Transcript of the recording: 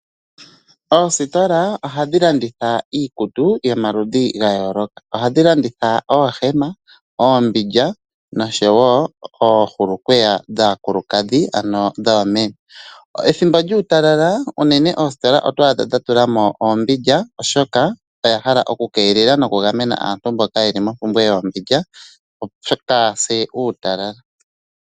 Oositola ohadhi landitha iikutu yomaludhi gayooloka ohadhi landitha oohema, oombindja noshowo oohulukweya dhaakulukadhi ano dhoomeme. Pethimbo lyuutalala unene oositola oto adha dhatulamo oombindja oshoka oya hala oku keelela nokugamena aantu mboka yeli mompumbwe yoombindja kaayase uutalala.